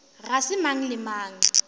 ga se mang le mang